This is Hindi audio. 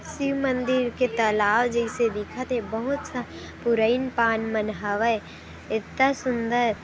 शिव मंदीर के तलाव जइसे दिखथ हे बहुत सा पुरइन पान मन हवए इता सुन्दर--